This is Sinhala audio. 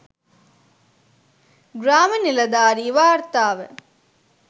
ග්‍රාම නිලධාරි වාර්තාව